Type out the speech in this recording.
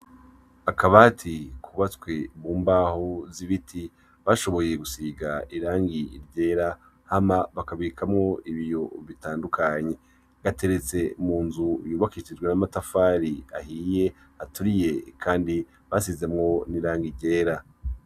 Akabati kubatswe mu mbaho zibiti , bashoboye gusiga irangi ryera , hama bakabikamwo ibiyo bitandukanye . Gateretse mu nzu yubakishijwe amatafari , aturiye kandi basizemwo n' irangi ryera .